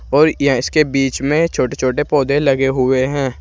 और यह इसके बीच में छोटे छोटे पौधे लगे हुए हैं।